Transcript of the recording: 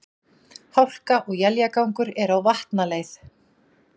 Hálka og éljagangur er á Vatnaleið